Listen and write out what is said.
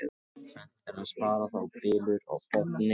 Seint er að spara þá bylur á botni.